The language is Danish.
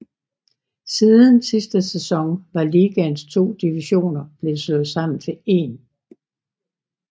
Siden sidste sæson var ligaens to divisioner blevet slået sammen til én